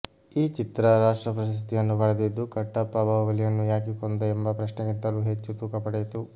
ಈ ಚಿತ್ರ ರಾಷ್ಟ್ರಪಶಸ್ತಿಯನ್ನು ಪಡೆದಿದ್ದು ಕಟ್ಟಪ್ಪ ಬಾಹುಬಲಿಯನ್ನು ಯಾಕೆ ಕೊಂದ ಎಂಬ ಪ್ರಶ್ನೆಗಿಂತಲೂ ಹೆಚ್ಚು ತೂಕ ಪಡೆಯಿತು